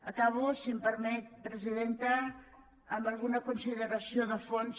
acabo si em permet presidenta amb alguna consideració de fons